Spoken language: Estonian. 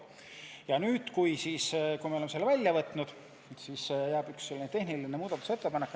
Ja kui oleme selle välja võtnud, jääb sisse ainult üks tehniline muudatusettepanek.